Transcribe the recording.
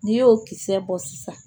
N'i y'o kisɛ bɔ sisan